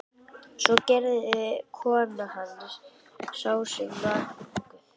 Svo gerði og kona hans sem þá var þunguð.